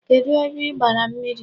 Kedụ ebe i gbara mmiri?